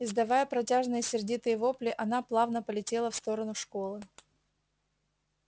издавая протяжные сердитые вопли она плавно полетела в сторону школы